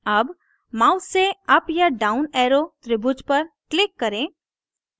अब mouse से up या down arrow त्रिभुज पर click करें